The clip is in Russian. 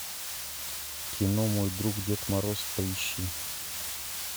кино мой друг дед мороз поищи